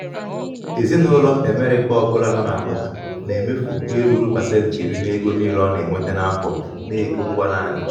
ezinụlọ amerịka ọbụla ezinụlọ amerịka ọbụla nọ n'agbata na-emefu ihe ruru pasenti iri n'ego niile ọ na-enweta n'afọ n'ego ngwa naanị.